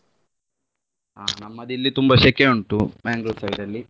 ಹಾ ನಮ್ಮದು ಇಲ್ಲಿ ತುಂಬಾ ಶೆಕೆ ಉಂಟು Mangalore side ಅಲ್ಲಿ.